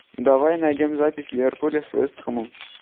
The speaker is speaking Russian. давай найдем запись ливерпуля с вест хэмом